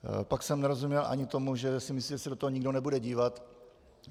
Pak jsem nerozuměl ani tomu, že si myslí, že se do toho nikdo nebude dívat.